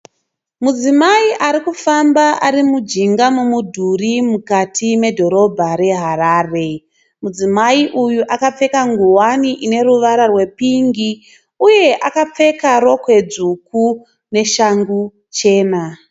Mudzimai arikufamba arimujinga memudhuri mukati medhorobha re Harare. Mudzimai uyu akapfeka ngowani ine ruwara rwe pingi uye akapfeka rokwe dzvuku neshangu chena.